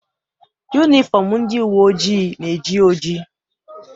Yunifọm ndị uwe ojii na-eji oji.